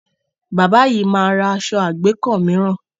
Bábà yìí máa ra aṣọ àgbékọ́ mìíràn.